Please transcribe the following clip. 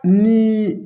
Ni